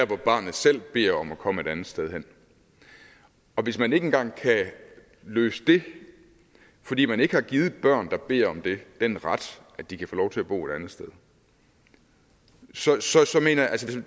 hvor barnet selv beder om at komme et andet sted hen og hvis man ikke engang kan løse det fordi man ikke har givet børn der beder om det den ret at de kan få lov til at bo et andet sted så er